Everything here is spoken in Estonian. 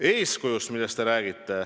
Te räägite eeskujust.